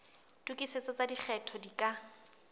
tokisetso tsa lekgetho di ka